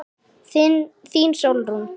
Þín Sólrún.